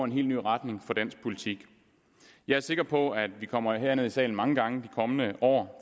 ny retning for dansk politik jeg er sikker på at vi kommer herned i salen mange gange i de kommende år